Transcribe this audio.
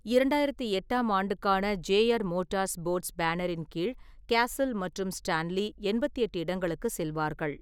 இரண்டாயிரத்து எட்டாம் ஆண்டுக்கான ஜே.ஆர். மோட்டார்ஸ்போர்ட்ஸ் பேனரின் கீழ் கேசில் மற்றும் ஸ்டான்லி எண்பத்தெட்டு இடங்களுக்கு செல்வார்கள்.